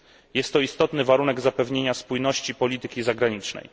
Jest to istotny warunek zapewnienia spójności polityki zagranicznej.